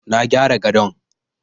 Na gyara gadon.